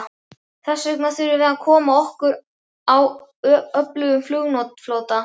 Þessvegna þurfum við að koma okkur upp öflugum flugflota.